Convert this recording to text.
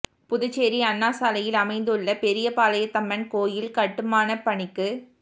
புதுச்சேரி அண்ணா சாலையில் அமைந்துள்ள பெரியபாளையத்தம்மன் கோயில் கட்டுமானப் பணிக்கு ரூ